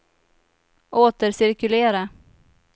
återcirkulera